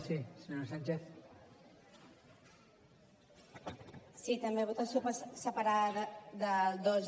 sí també votació separada del dos